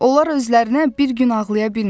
Onlar özlərinə bir gün ağlaya bilmir.